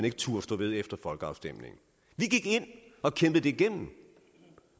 ikke turde stå ved efter folkeafstemningen vi gik ind og kæmpede det igennem